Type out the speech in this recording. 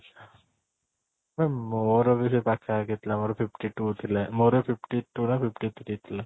ଆରେ ମୋର ବି ସେଇ ପାଖ ପାଖି ଥିଲା ମୋର fifty two ଥିଲା ମୋର fifty two ନା fifty three ଥିଲା